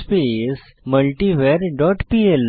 space multivar dot PL